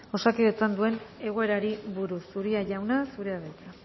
osakidetzan duen egoerari buruz uria jauna zurea da hitza